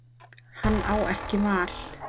Hann á ekki val.